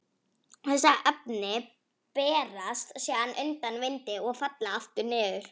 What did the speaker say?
Þessi efni berast síðan undan vindi og falla aftur niður.